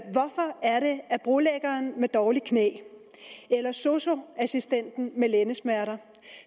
at brolæggeren med dårligt knæ eller sosu assistenten med lændesmerter